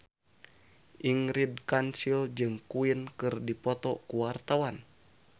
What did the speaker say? Ingrid Kansil jeung Queen keur dipoto ku wartawan